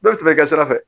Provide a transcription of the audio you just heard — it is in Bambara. Bɛɛ bɛ tɛmɛ ka sira fɛ